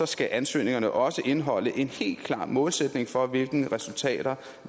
skal ansøgningerne også indeholde en helt klar målsætning for hvilke resultater